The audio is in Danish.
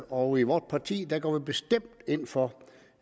og i vort parti går vi bestemt ind for